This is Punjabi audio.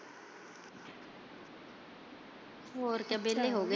ਹੋਰ ਕੀ ਵੇਲੇ ਹੋਗੇ।